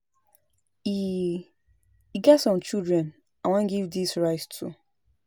E E get some children I wan give dis rice to